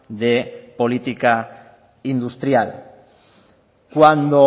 de política industrial cuando